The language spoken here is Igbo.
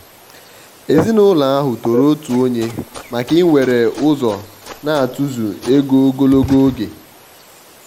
èzìnụlọ ahụ tòrò òtù ònye maka íwere ụzọ n'atụ̀zụ̀ égò ogologo oge.